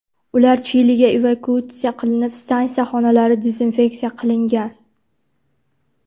Ular Chiliga evakuatsiya qilinib, stansiya xonalari dezinfeksiya qilingan.